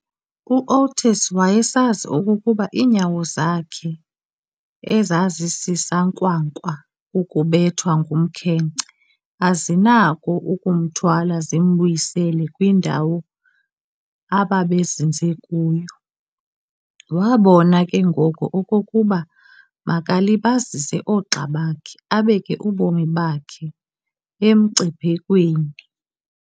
U-Oates wayesazi okokuba iinyawo zakhe ezazisisankwankwa kukubethwa ngumkhenkce azinakho ukumthwala zimbuyisele kwindawo ababezinze kuyo, wabona ke ngoko okokuba makabalibazise oogxa bakhe abeke ubomi bakhe emngciphekweni.